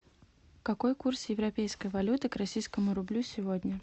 какой курс европейской валюты к российскому рублю сегодня